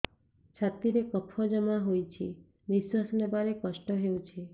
ଛାତିରେ କଫ ଜମା ହୋଇଛି ନିଶ୍ୱାସ ନେବାରେ କଷ୍ଟ ହେଉଛି